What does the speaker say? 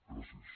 gràcies